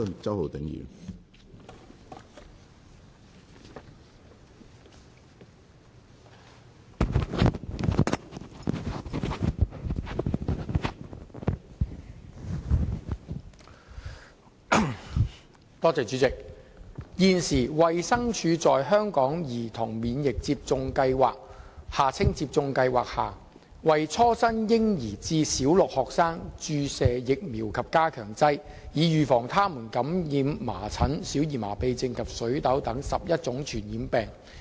主席，現時，衞生署在香港兒童免疫接種計劃下，為初生嬰兒至小六學生注射疫苗及加強劑，以預防他們感染麻疹、小兒麻痺症及水痘等11種傳染病。